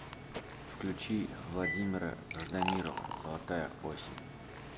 включи владимира ждамирова золотая осень